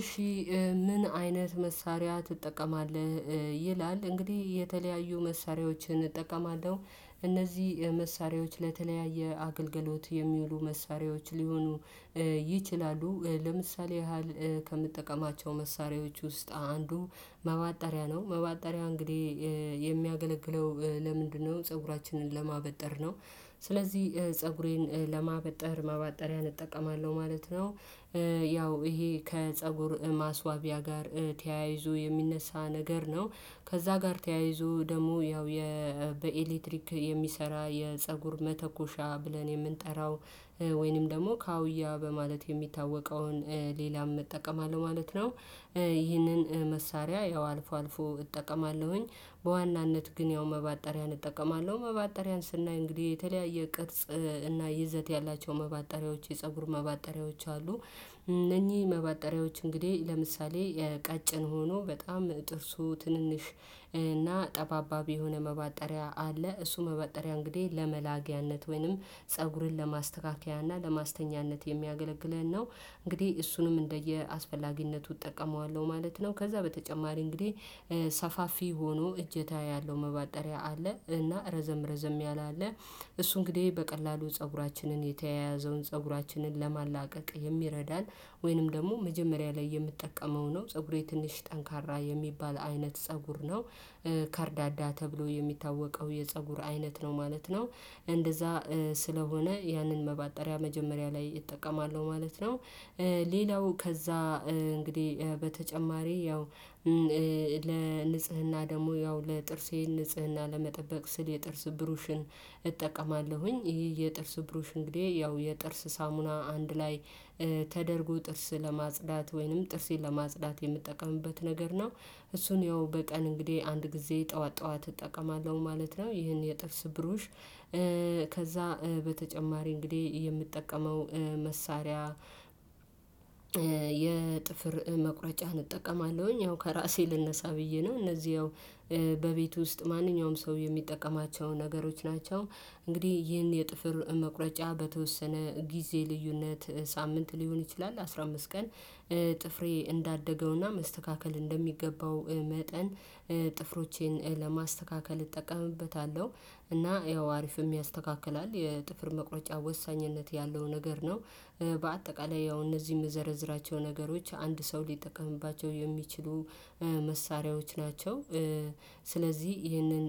እሺ ምን አይነት መሳሪያ ትጠቀማለህ? ይላል እንግዲህ የተለያዩ መሳሪያዎችን እጠቀማለሁ። እነዚህ መሳሪያዎች ለተለያየ አገልግሎት የሚውሉ መሳሪያዎች ሊሆኑ ይችላሉ። ለምሳሌ ያህል ከምጠቀማቸው መሳሪያዎች ውስጥ አንዱ ማበጠሪያ ነው። ማበጠሪያ እንግዲህ የሚያገለግለው ለምንድነው? ፀጉራችንን ለማበጠር ነው። ስለዚህ ፀጉሬን ለማበጠር ማበጠሪያ እጠቀማለሁ ማለት ነው። ያው ይሄ ከፀጉር ማስዋቢያ ጋር ተያይዞ የሚነሳ ነገር ነው። ከዛ ጋር ተያይዞ ደግሞ ያው በኤሌክትሪክ የሚሰራ የፀጉር መተኮሻ ብለን የምንጠራው ወይንም ደግሞ ካውያ በማለት የሚታወቀውን ሌላም እጠቀማለሁ ማለት ነው። ይህንን መሳሪያ ያው አልፎ አልፎ እጠቀማለሁኝ በዋናነት ግን ያው ማበጠሪያን እጠቀማለሁ ማበጠሪያን ስናይ እንግዲህ የተለያየ ቅርጽ እና ይዘት ያላቸው ማበጠሪያዎች የፀጉር ማበጠሪያዎች አሉ። እነኚህ ማበጠሪያዎች እንግዲህ ለምሳሌ ቀጭን ሆኖ በጣም ጥርሱ ትንንሽ እና ጠባባቢ የሆነ መባጠሪያ አለ። እሱ መባጠሪያ እንግዲህ ለመላጊያነት ወይንም ፀጉርን ለማስተካከያና ለማስተኛነት የሚያገለግለን ነው። እንግዲህ እሱንም እንደየአስፈላጊነቱ እጠቀመዋለሁ ማለት ነው። ከዛ በተጨማሪ እንግዲህ ሰፋፊ ሆኖ እጀታ ያለው መባጠሪያ አለ። እና ረዘም ረዘም ያለ አለ። እሱ እንግዲህ በቀላሉ ፀጉራችንን የተያያዘውን ፀጉራችንን ለማላቀቅ የሚረዳን ወይንም ደግሞ መጀመሪያ ላይ የምጠቀመው ነው። ፀጉሬ ትንሽ ጠንካራ የሚባል አይነት ፀጉር ነው። ከርዳዳ ተብሎ የሚታወቀው የፀጉር አይነት ነው ማለት ነው። እንደዛ ስለሆነ ያንን መባጠሪያ መጀመሪያ ላይ እጠቀማለሁ ማለት ነው። ሌላው ከዛ እንግዲህ በተጨማሪ ያው ለንጽህና ደግሞ ያው ለጥርሴ ንጽህና ለመጠበቅ ስል የጥርስ ብሩሽን እጠቀማለሁኝ። ይሄ የጥርስ ብሩሽ እንግዲህ ያው የጥርስ ሳሙና አንድ ላይ ተደርጎ ጥርስ ለማጽዳት ወይንም ጥርሴን ለማጽዳት የምጠቀምበት ነገር ነው። እሱን ያው በቀን እንግዲህ አንድ ጊዜ ጠዋት ጠዋት እጠቀማለሁ ማለት ነው። ይሄን የጥርስ ብሩሽ ከዛ በተጨማሪ እንግዲህ የምጠቀመው መሳሪያ የጥፍር መቁረጫን እጠቀማለሁኝ። ያው ከራሴ ልነሳ ብዬ ነው እነዚህ ያው በቤቱ ውስጥ ማንኛውም ሰው የሚጠቀማቸው ነገሮች ናቸው። እንግዲህ ይህን የጥፍር መቁረጫ በተወሰነ ጊዜ ልዩነት ሳምንት ሊሆን ይችላል አስራ አምስት ቀን ጥፍሬ እንዳደገውና መስተካከል እንደሚገባው መጠን ጥፍሮቼን ለማስተካከል እጠቀምበታለሁ። እና ያው አሪፍም ያስተካክላል የጥፍር መቁረጫ ወሳኝነት ያለው ነገር ነው። በአጠቃላይ ያው እነዚህም የምዘረዝራቸው ነገሮች አንድ ሰው ሊጠቀምባቸው የሚችሉ መሳሪያዎች ናቸው። ስለዚህ ይህንን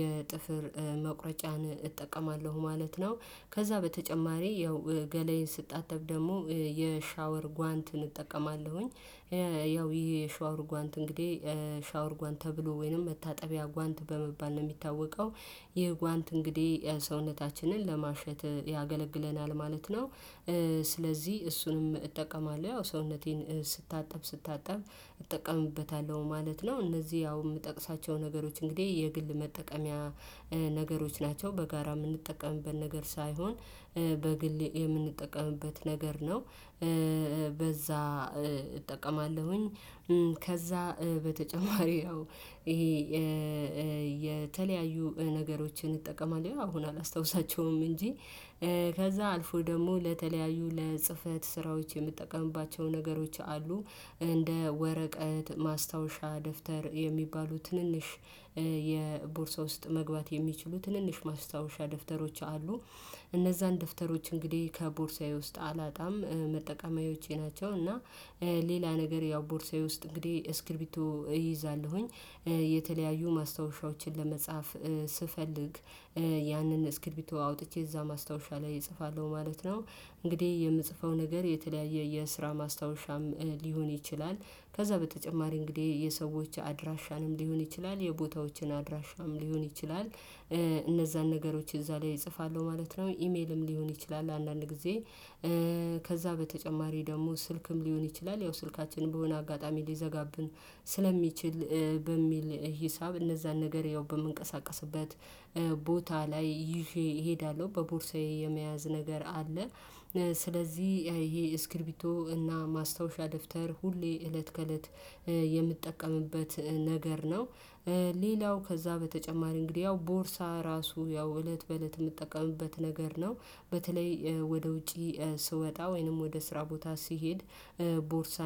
የጥፍር መቁረጫን እጠቀማለሁ ማለት ነው። ከዛ በተጨማሪ ያው ገለዬን ስታጠብ ደግሞ የሻወር ጓንትን እጠቀማለሁኝ። ያው ይሄ የሻወር ጓንት እንግዲህ ሻወር ጓንት ተብሎ ወይንም መታጠቢያ ጓንት በመባል ነው የሚታወቀው። ይህ የጓንት እንግዲህ ሰውነታችንን ለማሸት ያገለግለናል ማለት ነው። ስለዚህ እሱንም እጠቀማለሁ ያው ሰውነቴን ስታጠብ ስታጠብ እጠቀምበታለሁ ማለት ነው። እነዚህ ያው የምጠቅሳቸው ነገሮች እንግዲህ የግል መጠቀሚያ ነገሮች ናቸው በጋራ የምንጠቀምበት ነገር ሳይሆን በግሌ የምንጠቀምበት ነገር ነው። በዛ እጠቀማለሁኝ ከዛ በተጨማሪ ያው ይሄ የተለያዩ ነገሮችን እጠቀማለሁ አሁን አላስታውሳቸውም እንጂ። ከዛ አልፎ ደግሞ ለተለያዩ ለጽህፈት ስራዎች የምጠቀምባቸው ነገሮች አሉ። እንደ ወረቀት ማስታወሻ ደፍተር የሚባሉ ትንንሽ የቦርሳ ውስጥ መግባት የሚችሉ ትንንሽ ማስታወሻ ደፍተሮች አሉ። እነዛን ደፍተሮች እንግዲህ ከቦርሳዬ ውስጥ አላጣም መጠቀማዬዎቼ ናቸው። እና ሌላ ነገር ያው ቦርሳዬ ውስጥ እንግዲህ እስክሪቢቶ እይዛለሁኝ። የተለያዩ ማስታወሻዎችን ለመጻፍ ስፈልግ ያንን እስክርቢቶ አውጥቼ እዛ ማስታወሻ ላይ እጽፋለሁ ማለት ነው። እንግዲህ የምጽፈው ነገር የተለያየ የስራ ማስታወሻም ሊሆን ይችላል። ከዛ በተጨማሪ እንግዲህ የሰዎች አድራሻንም ሊሆን ይችላል የቦታዎችን አድራሻም ሊሆን ይችላል። እነዛን ነገሮች እዛ ላይ እጽፋለሁ ማለት ነው ኢሜልም ሊሆን ይችላል አንዳንድ ጊዜ። ከዛ በተጨማሪ ደግሞ ስልክም ሊሆን ይችላል ያው ስልካችንን በሆነ አጋጣሚ ሊዘጋብን ስለሚችል በሚል ሂሳብ እነዛን ነገር ያው በምንቀሳቀስበት ቦታ ላይ ይዤ እሄዳለሁ በቦርሳዬ የመያዝ ነገር አለ። ስለዚህ ይሄ እስክሪቢቶ እና ማስታወሻ ደፍተር ሁሌ እለት ከእለት የምትጠቀምበት ነገር ነው። ሌላው ከዛ በተጨማሪ እንግዲህ ያው ቦርሳ ራሱ ያው እለት በእለት የምትጠቀምበት ነገር ነው። በተለይ ወደ ውጪ ስወጣ ወይንም ወደ ስራ ቦታ ሲሄድ ቦርሳ